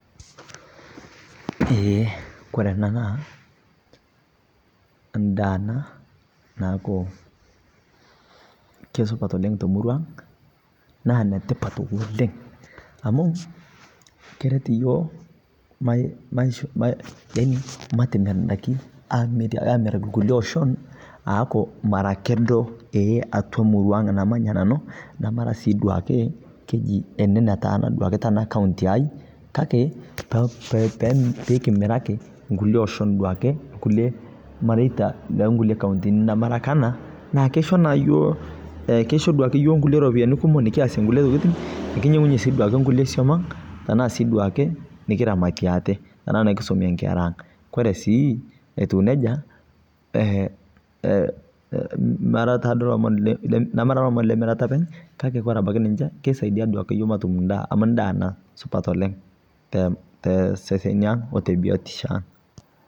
Eeh kore ena naa ndaa ana naaku kesupaat oleng to murua ang', naa netipaat oleng amu kereet yoo maii yaani matemeen ndaaki amiraaki nkule ooshon aaku mara kedoo ee atua murua ang namanya nanu. Namara sii duake kejii ene nataana duake tana kauntii ai, kaki piikimiraki nkulee oshoon duake nkule maarita le nkulee kauntini na mara aka anaa. Naa keishoo naa yoo eeh keishoo duake yoo nkulee ropiani kumook nikiase nkulee ntokitin nikinyeng'uye sii duake nkulee somoong' ang taa sii duake nikiramaatie ate tana nkisomie nkeraa ang. Kore sii etuu nejaa eeh, eeh meraa taa doo lomon meraa lomon le meeretaa openy' kaki kore abaki ninchee keisaidia duake yoo matuum ndaa amu ndaa naa supaat oleng te te sesen ang o te biotisho ang.